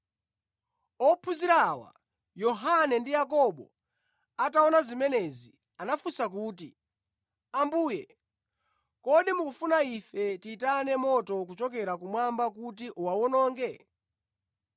Ophunzira awa, Yohane ndi Yakobo ataona zimenezi, anafunsa kuti, “Ambuye, kodi mukufuna ife tiyitane moto kuchokera kumwamba kuti uwawononge?”